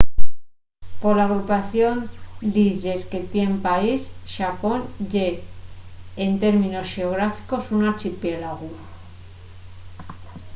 pola agrupación d'islles que tien el país xapón ye en términos xeográficos un archipiélagu